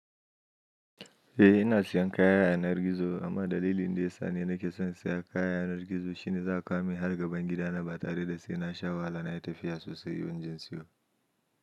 Eh ina siyan kayan yanar gizo amma dalilin da ya sa ni nake son siya kayan yanar gizo shine za a kawomin har gaban gidana ba tare da sai na sha wahala na yi tafiya sosai wajen siyo.